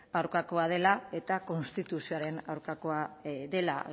aurkakoa dela eta konstituzioaren aurkakoa dela